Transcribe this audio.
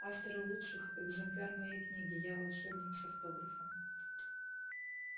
автору лучших экземпляр моей книги я волшебник с автографом